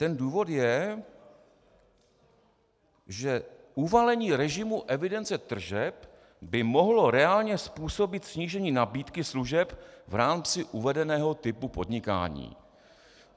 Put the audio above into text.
Ten důvod je, že "uvalení režimu evidence tržeb by mohlo reálně způsobit snížení nabídky služeb v rámci uvedeného typu podnikání".